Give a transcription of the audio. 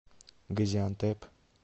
газиантеп